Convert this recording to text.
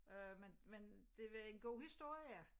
Øh men men det var en god historie